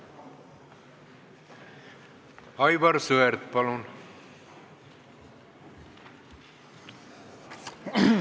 Aivar Sõerd, palun!